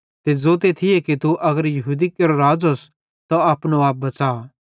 ते ज़ोते थिये तू अगर यहूदी केरो राज़ोस त अपनो आप बच़ा